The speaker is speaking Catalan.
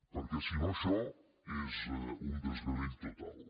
perquè si no això és un desgavell total